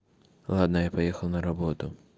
ладно я поехал на работу